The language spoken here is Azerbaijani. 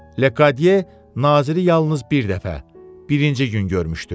Lekqadiya naziri yalnız bir dəfə, birinci gün görmüşdü.